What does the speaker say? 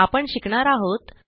आपण शिकणार आहोत